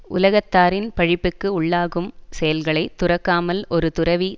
உலகத்தாரின் பழிப்புக்கு உள்ளாகும் செயல்களை துறக்காமல் ஒரு துறவி